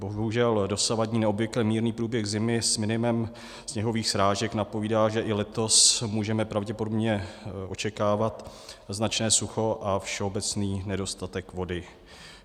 Bohužel dosavadní neobvykle mírný průběh zimy s minimem sněhových srážek napovídá, že i letos můžeme pravděpodobně očekávat značné sucho a všeobecný nedostatek vody.